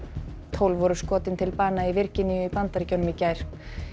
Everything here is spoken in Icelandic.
tólf voru skotin til bana í Virginíu í Bandaríkjunum í gær